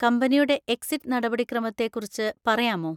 കമ്പനിയുടെ എക്സിറ്റ് നടപടിക്രമത്തെ കുറിച്ച് പറയാമോ?